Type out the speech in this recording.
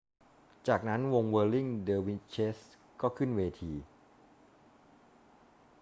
จากนั้นวงเวิร์ลลิง เดอร์วิชเชส ก็ขึ้นเวที